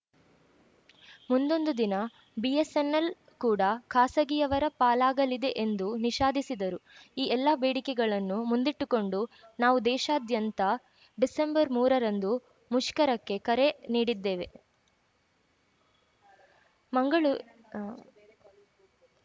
ಮುಂದೊಂದು ದಿನ ಬಿಎಸ್‌ಎನ್‌ಎಲ್‌ ಕೂಡ ಖಾಸಗಿಯವರ ಪಾಲಾಗಲಿದೆ ಎಂದು ನಿಷಾದಿಸಿದರು ಈ ಎಲ್ಲಾ ಬೇಡಿಕೆಗಳನ್ನು ಮುಂದಿಟ್ಟುಕೊಂಡು ನಾವು ದೇಶಾದ್ಯಂತ ಡಿಸೆಂಬರ್ಮೂರರಂದು ಮುಷ್ಕರಕ್ಕೆ ಕರೆ ನೀಡಿದ್ದೆವೆ ಮಂಗಳೂ ಆ